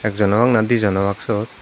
ekjon obak na dijon obak suot.